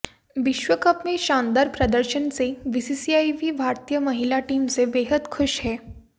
विश्व कप में शानदार प्रदर्शन से बीसीसीआई भी भारतीय महिला टीम से बेहद खुश है